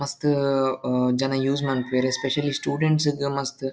ಮಸ್ತ್ ಉಮ್ ಜನ ಯೂಸ್ ಮನ್ಪುವೆರ್ ಸ್ಪೆಷಲಿ ಸ್ಟುಡೆಂಟ್ಸ್ ಗ್ ಮಸ್ತ್--